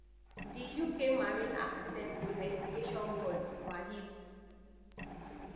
di uk marine accident investigation board maib